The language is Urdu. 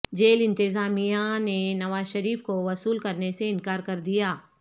جیل انتظامیہ نے نوازشریف کو وصول کرنے سے انکار کر دیا